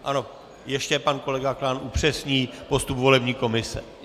Ano, ještě pan kolega Klán upřesní postup volební komise.